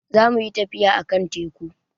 Za mu yi tafiya a kan teku